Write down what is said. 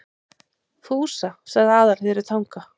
Fúsa, sagði Aðalheiður í Tanga.